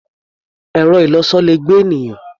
Ẹ̀rọ-ìlọsọ le gbé ènìyàn.